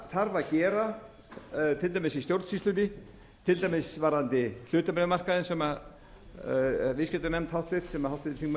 þarf að gera til dæmis í stjórnsýslunni til dæmis varðandi hlutabréfamarkaðinn sem háttvirtur viðskiptanefnd sem háttvirtur þingmaður